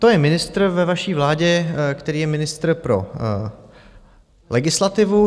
To je ministr ve vaší vládě, který je ministrem pro legislativu.